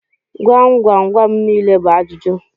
Gwam gwam gwam nile bu ajuju.